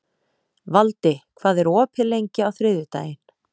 Valdi, hvað er opið lengi á þriðjudaginn?